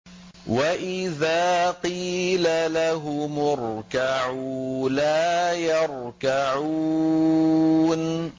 وَإِذَا قِيلَ لَهُمُ ارْكَعُوا لَا يَرْكَعُونَ